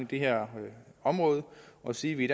det her område og sige at vi i